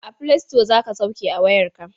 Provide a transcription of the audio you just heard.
A filasito za ka sauke a wayarka.